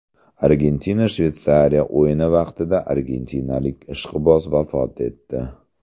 Argentina Shveysariya o‘yini vaqtida argentinalik ishqiboz vafot etdi.